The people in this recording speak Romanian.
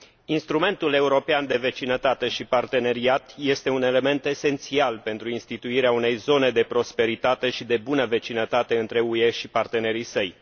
Instrumentul european de vecinătate și parteneriat este un element esențial pentru instituirea unei zone de prosperitate și de bună vecinătate între UE și partenerii săi.